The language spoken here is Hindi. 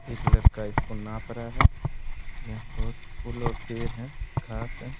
एक लड़का इसको नाप रहा है। यहाँ बहुत फूल और पेड़ हैं घास है।